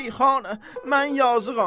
Şeyxanə, mən yazıqam.